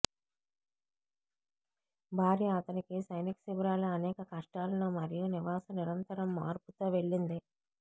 భార్య అతనికి సైనిక శిబిరాలు అనేక కష్టాలను మరియు నివాస నిరంతరం మార్పు తో వెళ్ళింది